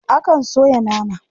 Akan soya nama.